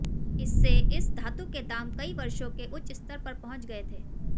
इससे इस धातु के दाम कई वर्षों के उच्च स्तर पर पहुंच गए थे